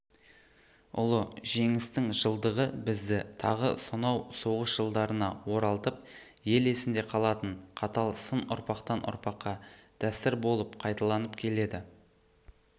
ұлы жеңістің жылдығы бізді тағы сонау соғыс жылдарына оралтып ел есінде қалатын қатал сын ұрпақтан ұрпаққа дәстүр болып қайталанып келеді